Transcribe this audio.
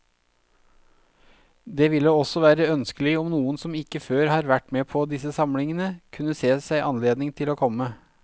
Det ville også være ønskelig om noen som ikke før har vært med på disse samlingene, kunne se seg anledning til å komme.